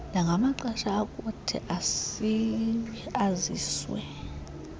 nangamaxesha ayakuthi aziswe